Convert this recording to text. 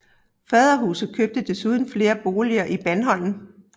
Faderhuset købte desuden flere boliger i Bandholm